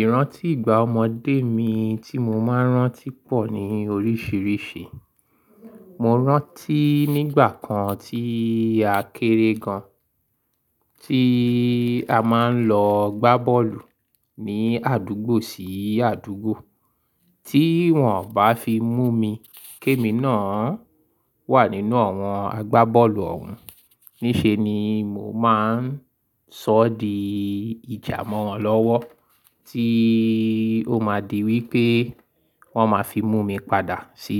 Ìrántí ìgbà ọmọdé mi tí mo máa ń rántí pọ̀ ní oríṣìíríṣìí. Mo rántí nígbà kan tí a kéré gan, tí a máa ń lọ gbá bọ́ọ̀lù ní àdúgbò sí àdúgbò. Tí wọ́n bá fi mú mi, ké mi náà wà nínú àwọn agbá bọ́ọ̀lù òun. Níṣe ni mo máa ń sọ di ìjà mọ́ wọn lọ́wọ́, tí ó máa di wí pé wọ́n máa fi mú mi padà sí